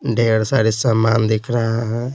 ढेर सारे सामान दिख रहा है।